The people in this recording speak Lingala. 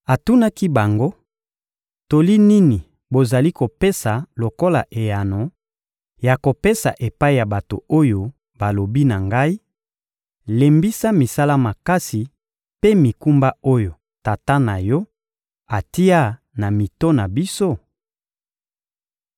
Atunaki bango: — Toli nini bozali kopesa lokola eyano ya kopesa epai ya bato oyo balobi na ngai: «Lembisa misala makasi mpe mikumba oyo tata na yo atia na mito na biso?»